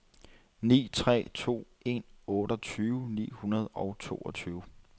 ni tre to en otteogtyve ni hundrede og toogtyve